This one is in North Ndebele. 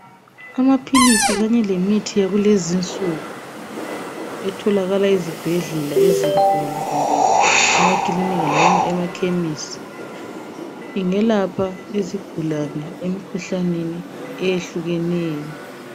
Amaphilisi kanye lemithi yakulezinsuku etholakala ezibhedlela ezinkulu kumbe emakilinika loba emakhemisi, ingelapha izigulane emikhuhlaneni eyehlukeneyo.